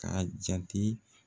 Ka jate.